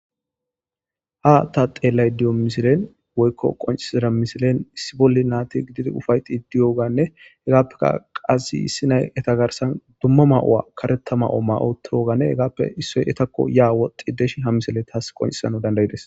Ha ta xelay diyo misilen woykko qoncisida misilen issi bolli naati gididi ufayxi diyoganne hegaappeka qazi issi nay eta garsan dumma ma'o'a karetama'o ma'o tooganne hegaappe issoy etakko yaa woxxi deshi ha misile taas qoncisana dandayides